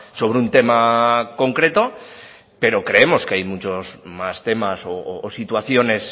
sobre un tema concreto pero creemos que hay muchos más temas o situaciones